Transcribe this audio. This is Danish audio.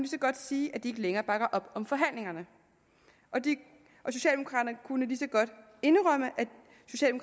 så godt sige at de ikke længere bakker op om forhandlingerne og kunne lige så godt indrømme